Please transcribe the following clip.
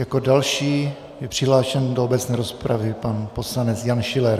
Jako další je přihlášen do obecné rozpravy pan poslanec Jan Schiller.